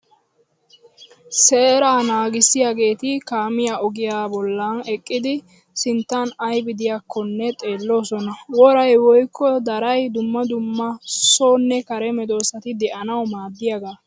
Seeraa naagissiyageeti kaamiya ogiyaa bollan eqqidi sinttan ayibi diyaakkonne xeelloosona. Woray woyikko daray dumma dumma sonne kare medossati de'anawu maaddiyagaa.